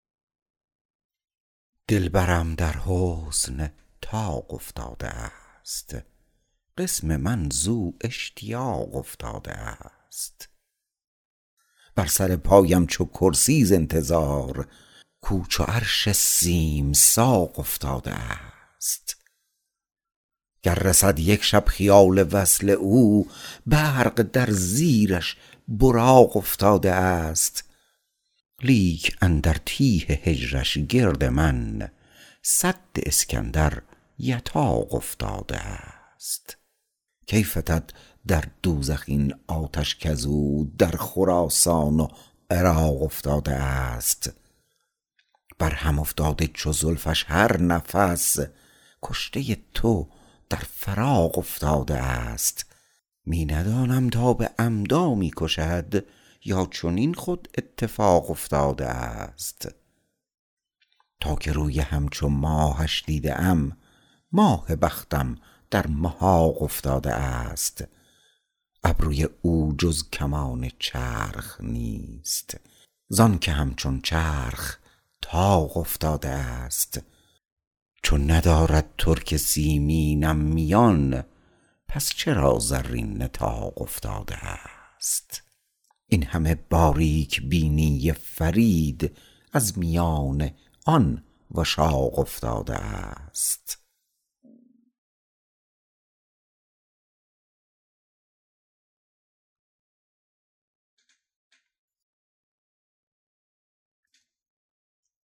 دلبرم در حسن طاق افتاده است قسم من زو اشتیاق افتاده است بر سر پایم چو کرسی ز انتظار کو چو عرش سیم ساق افتاده است گر رسد یک شب خیال وصل او برق در زیرش براق افتاده است لیک اندر تیه هجرش گرد من سد اسکندر یتاق افتاده است کی فتد در دوزخ این آتش کزو در خراسان و عراق افتاده است بر هم افتاده چو زلفش هر نفس کشته تو در فراق افتاده است می ندانم تا به عمدا می کشد یا چنین خود اتفاق افتاده است تا که روی همچو ماهش دیده ام ماه بختم در محاق افتاده است ابروی او جز کمان چرخ نیست زانکه همچون چرخ طاق افتاده است چون ندارد ترک سیمینم میان پس چرا زرین نطاق افتاده است این همه باریک بینی فرید از میان آن وشاق افتاده است